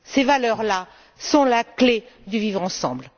Ces valeurs là sont la clé du vivre ensemble.